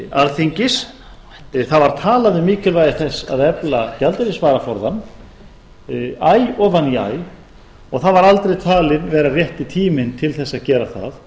alþingis það var talað um mikilvægi þess að efla gjaldeyrisvaraforðann æ ofan í æ og það var aldrei talinn vera rétti tíminn til þess að gera það